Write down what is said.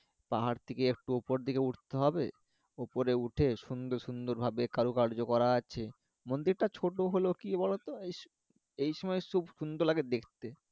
পাহাড় থেকে একোটু উপর দিলে উঠতে হবে উপরে উঠে সুন্দর সুন্দর ভাবে কারুকার্য করা আছে মন্দির টা ছোট হলেও কি বলো তো এই সময়ে খুব সুন্দর লাগে দেখতে